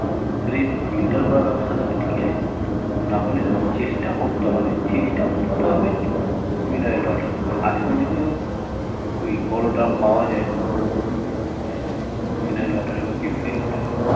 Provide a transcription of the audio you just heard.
সেটা যদি filter করার ব্যবস্থা থাকে ঠিক আছে নাহলে চেষ্টা করতে হবে চেষ্টা করতে হবে যে minerals water খাওয়ার আজকাল যদিও ঐ বড় drum পাওয়া যায় উম minerals water এ বা purified water এ